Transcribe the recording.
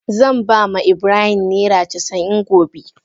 Zan ba ma Ibrahim naira casa'in gobe.